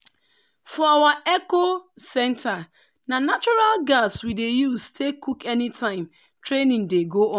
for our eco-centre na natural gas we dey use take cook anytime training dey go on.